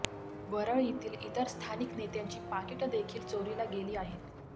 वरळीतील इतर स्थानिक नेत्यांची पाकिटं देखील चोरीला गेली आहेत